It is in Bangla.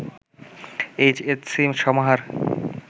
এইচ এস সি সমাহার